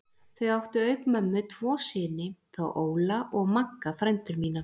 Þau áttu auk mömmu tvo syni, þá Óla og Magga frændur mína.